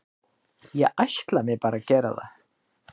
Ég ætla mér bara að gera það.